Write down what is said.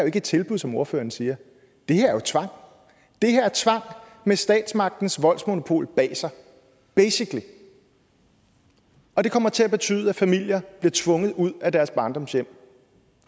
ikke et tilbud som ordføreren siger det her er tvang det her er tvang med statsmagtens voldsmonopol bag sig basically og det kommer til at betyde at familier bliver tvunget ud af deres barndomshjem